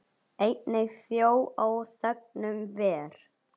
Einnig þjó á þegnum ver.